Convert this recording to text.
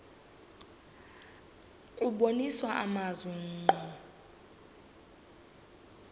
kubonisa amazwi ngqo